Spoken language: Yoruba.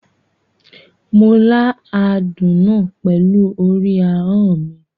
Mo la àádún náà pẹ̀lú orí ahọ́n mi.